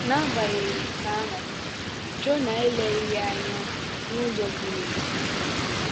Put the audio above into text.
N’agbanyeghị nke ahụ, Jonah eleghị ya anya n’ụzọ ziri ezi.